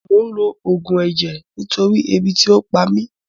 Mò ń lo Ògùn ẹ̀jẹ̀ nítorí ebi tí ò pa mí